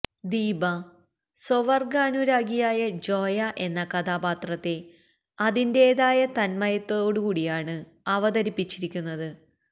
ദീപ സ്വവർഗനുരാഗിയായ ജോയ എന്ന കഥാപാത്രത്തെ അതിന്റേതായ തന്മയത്തേടുകൂടിയാണ് അവതരിപ്പിച്ചിരിക്കുന്നത്